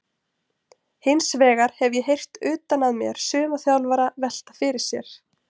Hinsvegar hef ég heyrt utan að mér suma þjálfara velta fyrir sér?